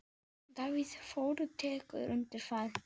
Davíð Þór tekur undir það.